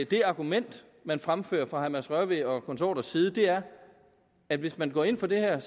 det argument man fremfører fra herre mads rørvig og konsorters side er at hvis man går ind for det her er